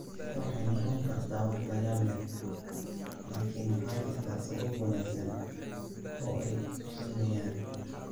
Waxay noqon kartaa wax la yaab leh, laakiin waxaa jirta sabab wanaagsan oo ay u sameeyaan.